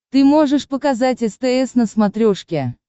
ты можешь показать стс на смотрешке